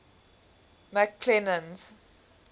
mcclennan's